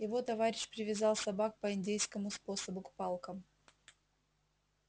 его товарищ привязал собак по индейскому способу к палкам